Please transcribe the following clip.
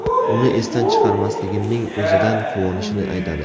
Uni esdan chiqarmasligimning o‘zidan quvonishini aytadi.